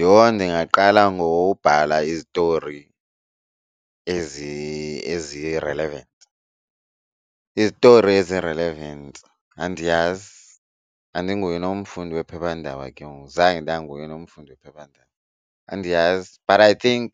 Yho ndingaqala ngobhala izitori ezi-relevant, izitori ezi-relevant andiyazi andinguye nomfundi wephephandaba ke ngoku zange ndanguye nomfundi wephephandaba andiyazi. But I think